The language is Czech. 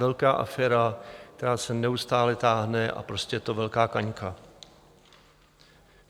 Velká aféra, která se neustále táhne, a prostě je to velká kaňka.